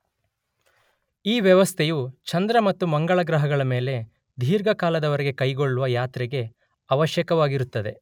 ಈ ವ್ಯವಸ್ಥೆಯು ಚಂದ್ರ ಮತ್ತು ಮಂಗಳ ಗ್ರಹಗಳ ಮೇಲೆ ದೀರ್ಘಕಾಲದವರೆಗೆ ಕೈಗೊಳ್ಳುವ ಯಾತ್ರೆಗೆ ಅವಶ್ಯಕವಾಗಿರುತ್ತದೆ.